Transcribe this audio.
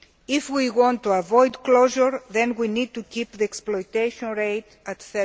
If we want to avoid closure, then we need to keep the exploitation rate at